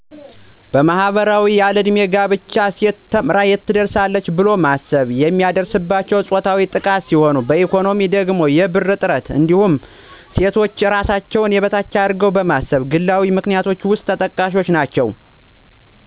በማህበራዊ ያለዕድሜ ጋብቻ፣ ሴት ተምራ የትም አትደርስ ብሎ ማሰብ፣ የሚደርስባቸው ፆታዊ ጥቃት ሲሆን በኢኮኖሚያዊ ደግሞ የብር እጥረት እንዲሁም ሴቶች እራሳቸውን የበታች አርገው ማሰብ ግላዊ ምክንያቶች ውስጥ ተጠቃሽ ናቸው።